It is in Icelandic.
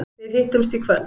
Við hittumst í kvöld.